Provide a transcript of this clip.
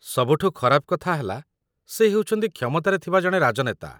ସବୁଠୁ ଖରାପ କଥା ହେଲା, ସେ ହେଉଚନ୍ତି କ୍ଷମତାରେ ଥିବା ଜଣେ ରାଜନେତା